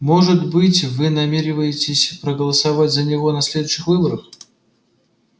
может быть вы намереваетесь проголосовать за него на следующих выборах